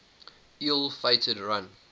ill fated run